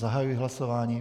Zahajuji hlasování.